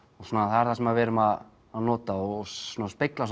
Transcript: það er það sem við erum að nota og spegla